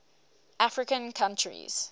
african countries